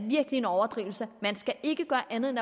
virkelig en overdrivelse man skal ikke gøre andet end